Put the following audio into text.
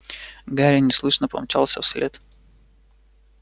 гарри неслышно помчался вслед